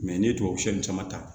n'i ye tubabu sɛ caman ta